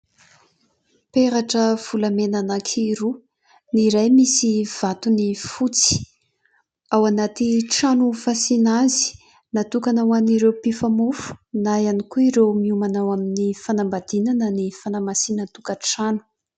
Peratra volamena anankiroa, ny iray misy vatony fotsy, ao anaty trano fasiana azy, natokana ho an'ireo mpifamofo na ihany koa ireo miomana ho amin'ny fanambadiana na ny fanamasinan-tokatrano.